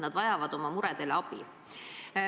Nad vajavad oma muredele abi.